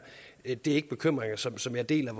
ikke bekymringer som som jeg deler